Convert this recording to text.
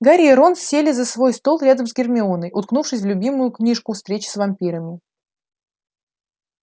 гарри и рон сели за свой стол рядом с гермионой уткнувшейся в любимую книжку встречи с вампирами